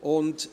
Geschäft